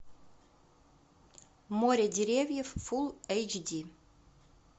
море деревьев фул эйч ди